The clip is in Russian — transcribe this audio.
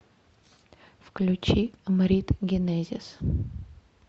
включи мрид генезис